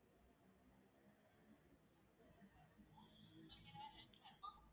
உங்களுக்கு எதாவது help வேணுமா?